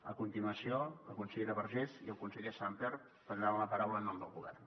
a continuació la consellera vergés i el conseller sàmper prendran la paraula en nom del govern